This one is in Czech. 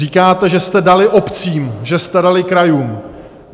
Říkáte, že jste dali obcím, že jste dali krajům.